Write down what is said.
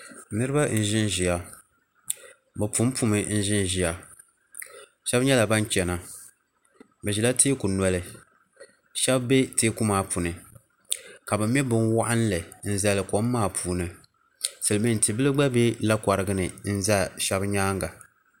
Niriba n ʒinʒia bɛ pumpumi n ʒinʒia sheba nyɛla ban chena bɛ ʒila teeku noli sheba be teeku maa puuni ka bɛ mɛ bin'waɣinli kom maa puuni Silimiin yi'bila gna be lakorigini n za sheba nyaanga.